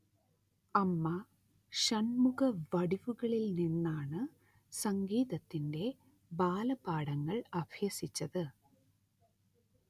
അമ്മ ഷൺമുഖവടിവുവിൽനിന്നാണ്‌ സംഗീതത്തിന്റെ ബാലപാഠങ്ങൾ അഭ്യസിച്ചത്‌